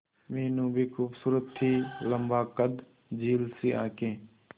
मीनू भी खूबसूरत थी लम्बा कद झील सी आंखें